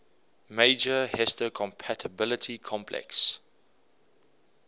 major histocompatibility complex